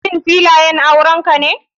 Shin filayan aurenka ne.